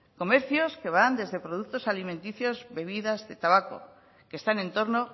comercios que van desde productos alimenticios bebidas de tabaco que están en torno